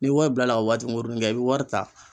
Ni wari bilala ka waati kunkurunin kɛ i bi wari ta